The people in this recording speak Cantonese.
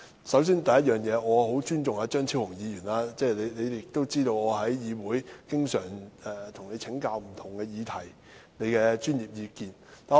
首先，我很尊重張超雄議員，我在議會中經常向他請教不同議題，聽他的專業意見。